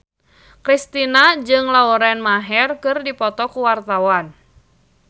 Kristina jeung Lauren Maher keur dipoto ku wartawan